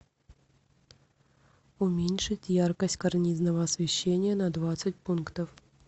уменьшить яркость карнизного освещения на двадцать пунктов